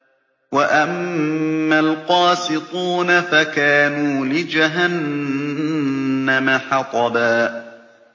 وَأَمَّا الْقَاسِطُونَ فَكَانُوا لِجَهَنَّمَ حَطَبًا